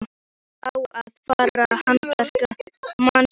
Það á að fara að handtaka mann.